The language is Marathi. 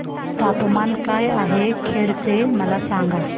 तापमान काय आहे खेड चे मला सांगा